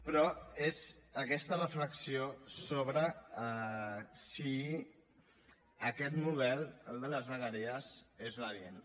però és aquesta reflexió sobre si aquest model el de les vegueries és l’adient